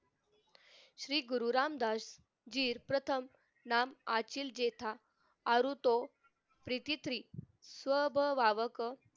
श्री गुरु रामदासजी प्रथम आचिल जेठा आरू तो विकितरी सबक